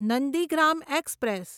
Nandigram express